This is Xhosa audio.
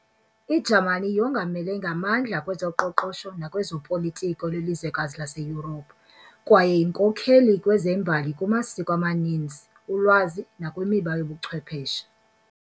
I-Jamani yongamele ngamandla kwezoqoqosho nakwezopolitiko lwelizwekazi laseYurophu kwaye yinkokheli kwezembali kumasiko amanizni, ulwazi, nakwimiba yobuchwepheshe.